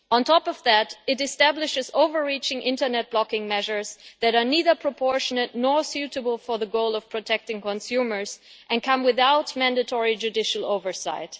On top of that, it establishes overreaching internet blocking measures that are neither proportionate nor suitable for the goal of protecting consumers and come without mandatory judicial oversight.